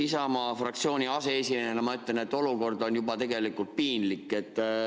Isamaa fraktsiooni aseesimehena ma ütlen, et olukord on juba tegelikult piinlik.